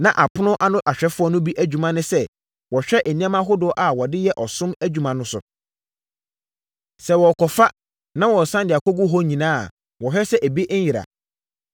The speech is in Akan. Na apono ano ahwɛfoɔ no bi adwuma ne sɛ wɔhwɛ nneɛma ahodoɔ a wɔde yɛ ɔsom adwuma no so. Sɛ wɔrekɔfa, na wɔresane de akɔgu hɔ no nyinaa a, wɔhwɛ sɛ ebi nnyera.